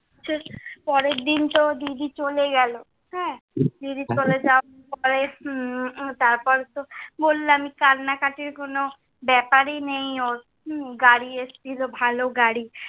পরের দিন তো দিদি চলে গেল, হ্যাঁ, দিদি চলে যাওয়ার পরে উম তার পরে তো বললো আমি কান্নাকাটির কোন ব্যাপারই নেই ওর, উম গাড়ি এসেছিল, ভালো গাড়ি।